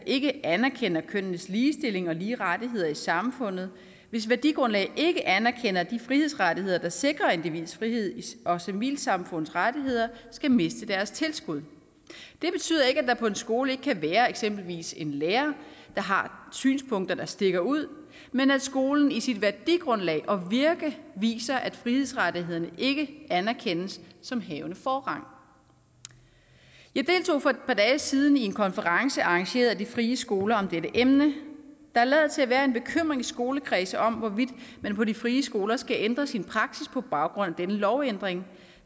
ikke anerkender kønnenes ligestilling og lige rettigheder i samfundet hvis værdigrundlag ikke anerkender de frihedsrettigheder der sikrer individets frihed og civilsamfundets rettigheder skal miste deres tilskud det betyder ikke at der på en skole ikke kan være eksempelvis en lærer der har synspunkter der stikker ud men at skolen i sit værdigrundlag og virke viser at frihedsrettighederne ikke anerkendes som havende forrang jeg deltog for et par dage siden i en konference arrangeret af de frie skoler om dette emne der lader til at være en bekymring i skolekredse om hvorvidt man på de frie skoler skal ændre sin praksis på baggrund af denne lovændring